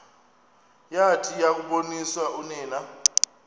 yathi yakuboniswa unina